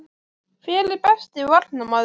Hver er besti Varnarmaðurinn?